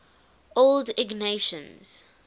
old ignatians